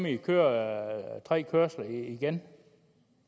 i køre tre kørsler igen